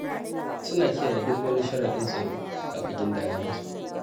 Suna kiyaye duk wani sharaɗin tsaro da aka gindaya musu.